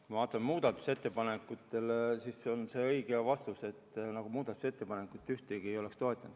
Kui ma vaatan muudatusettepanekuid, siis see on õige vastus, et me ühtki muudatusettepanekut ei toetanud.